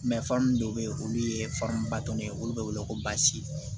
dɔw bɛ yen olu ye baton ye olu bɛ wele ko basi